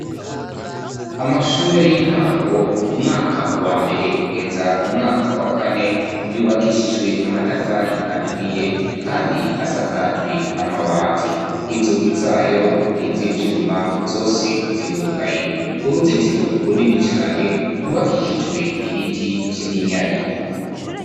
Amashure y'intango umwaka wa mbere kugeza mu mwaka wa kane, yubakishijwe amatafari aturiye, kandi asakajwe amabati. Inzugi zayo niz'ivyuma, zose zirugaye; uruzitiro runini cane rwubakishijwe ibiti vy'iminyari.